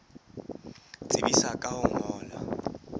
tsebisa ka ho o ngolla